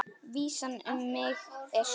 Vísan um mig er svona